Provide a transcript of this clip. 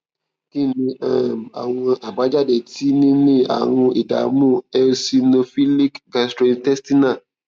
kí ni um àwọn àbájáde tí níní àrùn ìdààmú eosinophilic gastrointestinal